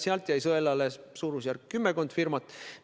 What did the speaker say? Seal jäi sõelale kümmekond firmat.